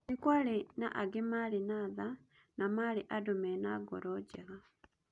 Nĩkwarĩ na angĩ marĩ na tha ma na marĩ andũmena ngoro njega